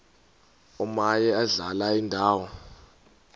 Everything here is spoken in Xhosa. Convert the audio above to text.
omaye adlale indawo